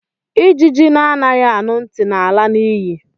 Ijiji na anaghị anu ntị na ala na iyi.